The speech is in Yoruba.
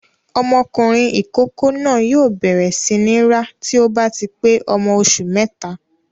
Ọmọkùnrin ìkókó náà yóò bẹ̀rẹ̀ sí ní rá tí ó bá ti pé ọmọ oṣù mẹ́ta.